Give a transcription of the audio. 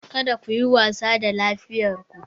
Kada ku yi wasa da lafiyar ku